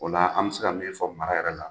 O la an bi se ka min fɔ mara yɛrɛ la